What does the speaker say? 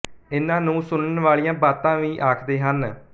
ਇਨ੍ਹਾਂ ਨੂੰ ਸੁਨਣ ਵਾਲੀਆਂ ਬਾਤਾਂ ਵੀ ਆਖਦੇ ਹਨ